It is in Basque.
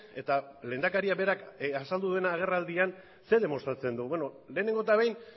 eta lehendakaria berak azaldu den agerraldian zer demostratzen du beno lehenengo eta behin